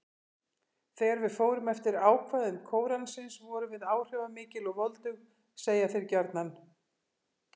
Þegar við fórum eftir ákvæðum Kóransins, vorum við áhrifamikil og voldug: segja þeir gjarnan.